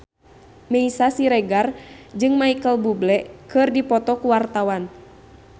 Meisya Siregar jeung Micheal Bubble keur dipoto ku wartawan